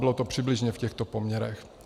Bylo to přibližně v těchto poměrech.